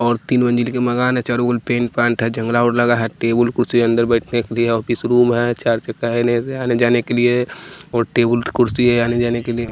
और तीन मंजिल का मकान है और चारों ओर पेंट पांट है जंगला और लगा है टेबुल कुर्सी है अंदर बैठने के लिए ऑफिस रूम है चार चक्का है आने जाने के लिए और टेबुल कुर्सी है आने जाने के लिए --